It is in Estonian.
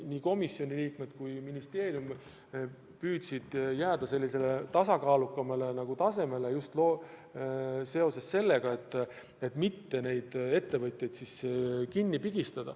Aga komisjoni liikmed ja ka ministeerium püüdsid jääda sellisele tasakaalukamale seisukohale, ja just seepärast, et mitte ettevõtjatel hinge kinni pigistada.